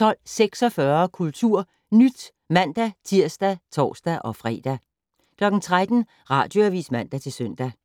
12:46: KulturNyt (man-tir og tor-fre) 13:00: Radioavis (man-søn)